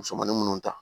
Musomanin minnu ta